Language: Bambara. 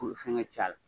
K'u fɛnkɛ cɛ a la